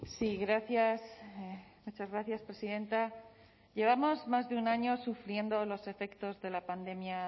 sí gracias muchas gracias presidenta llevamos más de un año sufriendo los efectos de la pandemia